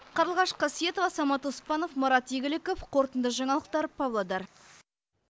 қарлығаш қасиетова самат оспанов марат игіліков қорытынды жаңалықтар павлодар